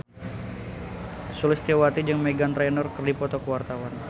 Sulistyowati jeung Meghan Trainor keur dipoto ku wartawan